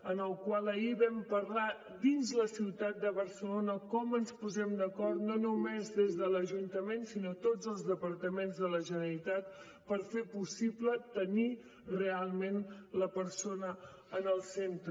en el qual ahir en vam parlar dins la ciutat de barcelona com ens posem d’acord no només des de l’ajuntament sinó tots els departaments de la generalitat per fer possible tenir realment la persona en el centre